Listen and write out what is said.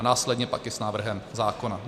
A následně pak i s návrhem zákona.